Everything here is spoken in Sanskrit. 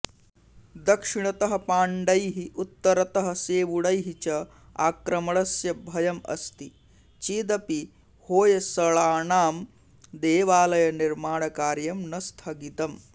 दक्षिणतः पाण्डैः उत्तरतः सेवुणैः च आक्रमणस्य भयम् अस्ति चेदपि होय्सळानां देवालयनिर्माणकार्यं न स्थगितम्